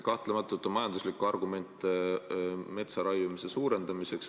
Kahtlematult on majanduslikke argumente metsa raiumise suurendamiseks.